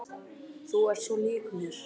Þú ert svo lík mér!